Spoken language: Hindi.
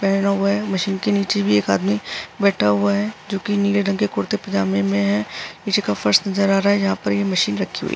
मशीन के नीचे एक आदमी बैठा हुआ है जो कि नीले रंग के कुर्ते पजामे में है। नीचे का फर्श नजर आ रहा है जहां पर ये मशीन रखी हुई है।